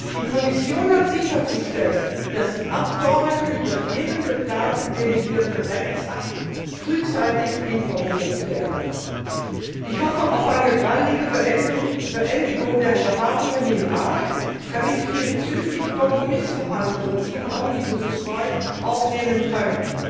Die Kommission hat sicherzustellen, dass die Abgeordneten über jeden geplanten delegierten Rechtsakt frühzeitig informiert werden. Ich hoffe auf eine baldige Beendigung der Beratungen im Rat, damit wir zügig Kompromissverhandlungen zum Omnibus II aufnehmen können.